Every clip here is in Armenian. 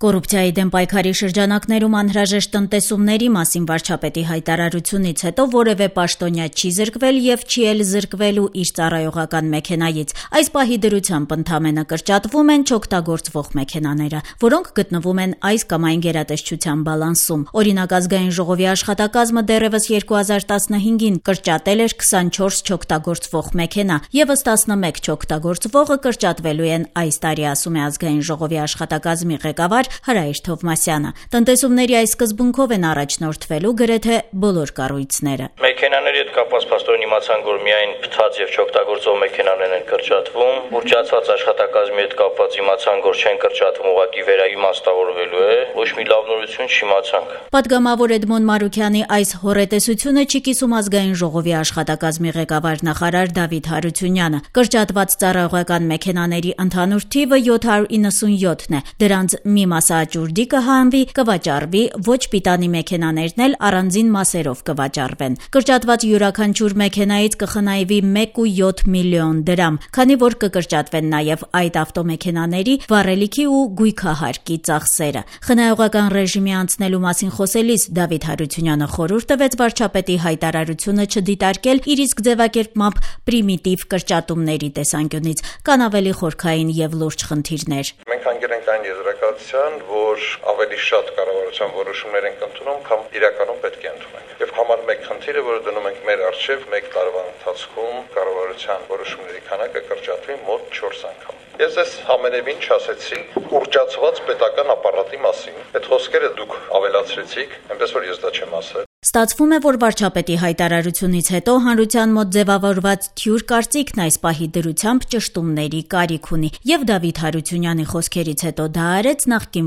Կոռուպցիայի դեմ պայքարի շրջանակներում անհրաժեշտ տնտեսումների մասին վարչապետի հայտարարությունից հետո որեւէ պաշտոնյա չի զրկվել եւ չի էլ զրկվելու իր ծառայողական մեքենայից: Այս պահի դրությամբ ընդամենը կրճատվում են չօգտագործվող մեքենաները, որոնք գտնվում են այս կամ այն գերատեսչության բալանսում: Օրինակ ԱԺ աշխատակազմը դեռեւս 2015-ին կրճատել էր 24 չօգտագործվող մեքենա, եւս 11 չօգտագործվողը կրճատվելու են այս տարի, ասում է ԱԺ աշխատակազմի ղեկավար Հրայր Թովմասյանը: Տնտեսումների այս սկզբունքով են առաջնոդրվելու գրեթե բոլոր կառույցները: «Մեքենաների հետ կապված փաստորեն իմացանք, որ միայն փտած եւ չօգտագործվող մեքենաներն են կրճատվում, ուռճացված աշխատակազմի հետ կապված իմացանք, որ չեն կրճատվում, ուղղակի վերաիմաստավորվելու է: Ոչ մի լավ նորություն չիմացանք»: Պատգամավոր Էդմոն Մարուքյանի այս հոռետեսությունը չի կիսում կառավարության աշխատակազմի ղեկավար-նախարար Դավիթ Հարությունյանը: Կրճատված ծառայողական մեքենաների ընդհանուր թիվը 797 է: Դրանց մի մասը աճուրդի կհանվի, կվաճառվի, ոչ պիտանի մեքենաներն էլ առանձին մասերով կվաճառվեն: Կրճատված յուրաքանչյուր մեքենայից կխնայվի 1.7 միլիոն դրամ, քանի որ կկրճատվեն նաեւ այդ ավտոմեքենաների վառելիքի ու գույքահարկի ծախսերը: Խնայողական ռեժիմի անցնելու մասին խոսելիս՝ Դավիթ Հարությունյանը խորհուրդ տվեց վարչապետի հայտարարությունը չդիտարկել, իր իսկ ձեւակերպմամբ, «պրիմիտիվ կրճատումների» տեսանկյունից: Կան ավելի խորքային եւ լուրջ խնդիրներ: «Մենք հանգել ենք այն եզրակացության, որ ավելի շատ կառավարության որոշումներ ենք ընդունում, քան իրականում պետք է ընդունենք: Եվ համար մեկ խնդիրը, որ դնում ենք մեկ տարվա ընթացքում կառավարությհան որոշումների թիվը կրճատել մոտ 4 անգամ: Ես ձեզ ամենեւին չասեցի ուռճացված պետական ապարատի մասին, այդ խոսքերը դուք ավելացրեցիք, այնպես որ ես դա չեմ ասել»: Ստացվում է, որ վարչապետի հայտարարությունից հետո հանրության մոտ ձեւավորված թյուր կարծիքն այս պահի դրությամբ ճշտումների կարիք ունի եւ Դավիթ Հարությունյանի խոսքերից հետո դա արեց նախկին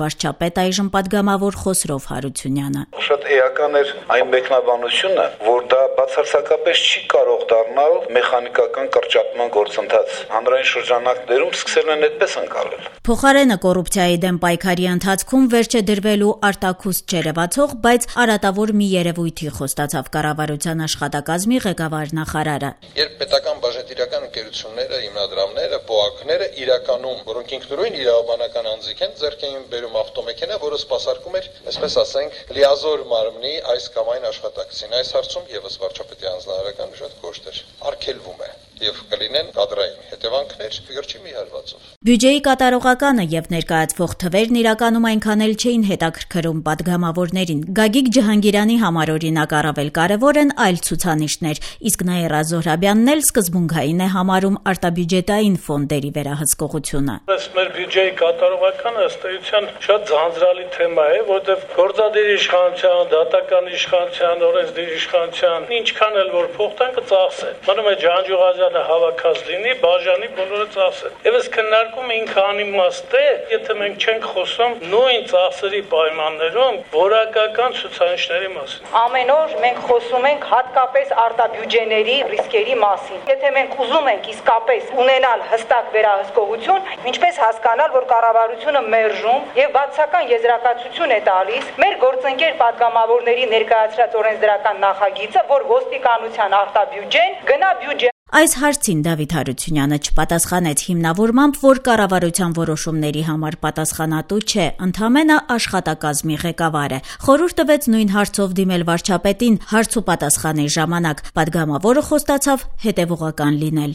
վարչապետ, այժմ պատգամավոր Խոսրով Հարությունյանը: «Շատ էական էր այն մեկնաբանությունը, որ դա բարցարձակապես չի կարող դառնալ մեխանիկական կրճատման գործընթաց: Հանրային շրջանակներում սկսել են այդպես ընկալել»: Փոխարենը՝ կոռուպցիայի դեմ պայքարի ընթացքում վերջ է դրվելու արտաքուստ չերեւացող, բայց արատավոր մի երեւույթի, խոստացավ կառավարության աշխատակազմի ղեկավար-նախարարը: «Երբ պետական բաժնետիրական ընկերությունները, հիմնադրամները, ՊՈԱԿ-ները, որոնք ինքնություն իրավաբանական անձինք են, ձեռք էին բերում ավտոմեքենա, որը սպասարկում էր լիազոր մարմնի այս կամ այն աշխատակցի: Այս հարցում եւս վարչապետի հանձնարարականը շատ կոշտ էր՝ արգելվում է: Եվ կլինեն կադրային հետեւանքներ գրչի մեկ հարվածով»: Բյուջեի կատարողականը եւ ներկայացվող թվերն իրականում այնքան էլ չէին հետաքրքրում պատգամավորներին: Գագիկ Ջհանգիրյանի համար, օրինակ, առավել կարեւոր են այլ ցուցանիշներ, իսկ Նաիրա Զոհրաբյանն էլ սկզբունքային է համարում արտաբյուջետային ֆոնդերի վերահսկողությունը: «Էս մեր բյուջեի կատարողականն, ըստ էության, շատ ձանձրալի թեմա է, որովհետեւ գործադիր իշխանության, դատական իշխանության, օրենսդիր իշխանության ինչքան էլ փող տան՝ կծախսեն: Մնում է Ջանջուղազյանը հավաքած լինի բաժանի բոլորը ծախսեն: Այս քննարկումն անիմաստ է, եթե մենք չենք խոսում նույն ծախսերի պայմաններում որակական ցուցանիշների մասին: Ամեն օր մենք խոսում ենք հատկապես արտաբյուջեների ռիսկերի մասին: Եթե մենք ուզում ենք իսկապես ունենալ հստակ վերահսկողություն, ինչպե՞ս հասկանալ, որ կառավարությունը մերժում եւ բացասական եզրակացություն է տալիս մեր գործընկեր պատգամավորների օրենսդրական նախագծին, որ ոստիկանության արտաբյուջեն գնա բյուջե»: Այս հարցին Դավիթ Հարությունյանը չպատասխանեց՝ հիմնավորմամբ, որ կառավարության որոշումների համար պատասխանատու չէ, ընդամենը աշխատակազմի ղեկավարն է: Խորհուրդ տվեց նույն հարցով դիմել վարչապետին՝ հարց ու պատասխանի ժամանակ: Պատգամավորը խոստացավ հետեւողական լինել: